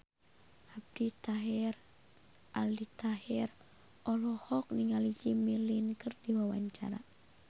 Aldi Taher olohok ningali Jimmy Lin keur diwawancara